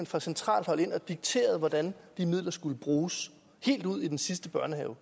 fra centralt hold ind og dikterede hvordan de midler skulle bruges helt ud i den sidste børnehave